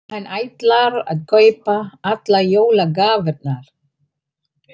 Hann ætlar að kaupa allar jólagjafirnar.